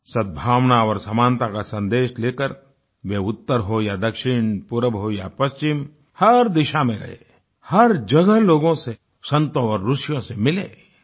सद्भावना और समानता का सन्देश लेकर वे उत्तर हो या दक्षिण पूर्व हो या पश्चिम हर दिशा में गये हर जगह लोगों से संतों और ऋषियों से मिले